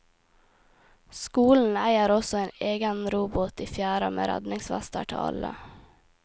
Skolen eier også egen robåt i fjæra med redningsvester til alle.